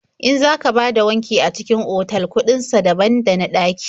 In za ka bada wanki a cikin otal kuɗin sa daban da na ɗaƙi.